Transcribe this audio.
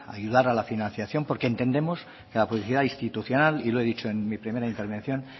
ayudar a la financiación porque entendemos que la publicidad institucional y lo he dicho en mi primera intervención